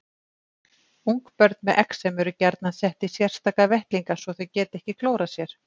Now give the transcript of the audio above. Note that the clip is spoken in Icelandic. Ungbörn með exem eru gjarnan sett í sérstaka vettlinga svo þau geti ekki klórað sér.